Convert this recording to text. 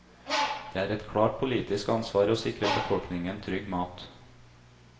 Det er et klart politisk ansvar å sikre befolkningen trygg mat.